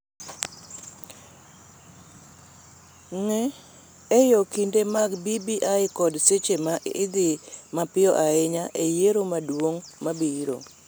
Ng�eyo kinde mag BBI kod seche ma dhi mapiyo ahinya e yiero maduong� mabiro